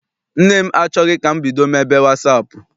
Nne m achọghị ka m bido mebe wasaapụ.